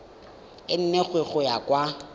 e nngwe go ya kwa